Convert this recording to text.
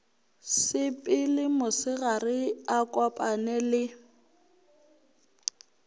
sepele mosegare a kopane le